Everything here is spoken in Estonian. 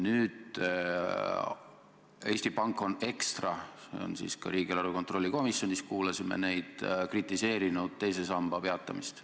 Nüüd, Eesti Pank on ekstra – me kuulasime neid ka riigieelarve kontrolli komisjonis – kritiseerinud teise samba peatamist.